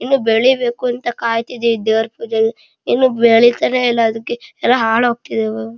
ಇನ್ನು ಬೆಳೀಬೇಕು ಅಂತ ಕಾಯ್ಥ ಇದ್ದಿವಿ ದೇವರ ಪೂಜೆಗೆ ಇನ್ನು ಬೆಳೀತಾನೆ ಇಲ್ಲ ಅದಕ್ಕೆ ಎಲ್ಲ ಹಾಳಾಗ್ತಿದೆ --